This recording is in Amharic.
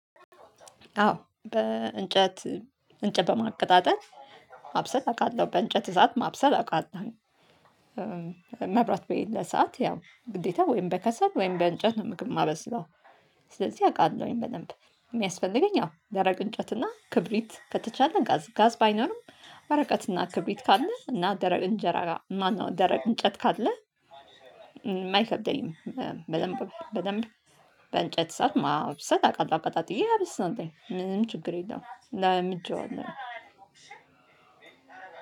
አዎ በእንጨት እንጨት በማቀጣጠል ማብሰል አውቃለሁ በእንጨት እሳት ማብሰል አውቃለሁ። መብራት በሄድ ሰዓት ያው ግዴታ ወይም በከሰብ ወይም በእንጨት ነው ምግብ ማበስለው። ስለዚህ አውቃለሁኝ በደንብ የሚያስፈልገኝ። አዎ ደረቅ እንጨትና ክብሪት ከተቻለ ጋዝ ጋዝ ባይኖርም ወረቀትና ክብሪት ካለ እና ደረቅ እንጀራ ጋር ማነው ደረቅ እንጨት ካለ አይከብደኝም ማይከብደኝም። በደንብ በደንብ በእንጨት ሰዓት ማብሰል አቃለሁ አቀጣጥዬ ሀብት ነው። ይላል ምንም ችግር የለውም ላምጄዋለሁ።